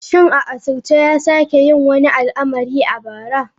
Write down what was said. Shin a asirce ya sake yin wani al'amari a bara?